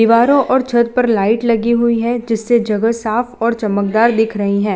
दीवारो और छत पर लाइट लगी हुई है जिससे जगह साफ और चमकदार दिख रही है।